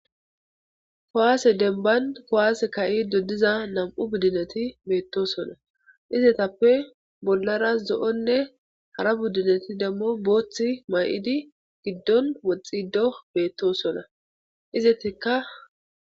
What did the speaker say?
kuwase demban kuwasse ka'ido diza nam'u biddineti beettosona izetappe bollara zo7onne hara buddineti demmo booththi mayidi giddon woxxido beettosona izettekka